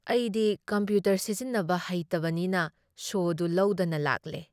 ꯑꯩꯗꯤ ꯀꯝꯄ꯭ꯌꯨꯇꯔ ꯁꯤꯖꯤꯟꯅꯕ ꯍꯩꯇꯕꯅꯤꯅ ꯁꯣꯗꯨ ꯂꯧꯗꯅ ꯂꯥꯛꯂꯦ ꯫